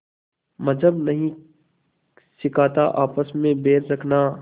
मज़्हब नहीं सिखाता आपस में बैर रखना